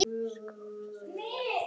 skáps að fylla hann.